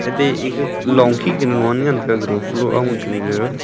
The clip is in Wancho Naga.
te ega long khe kunu lon ngan tega gado falow jaw a.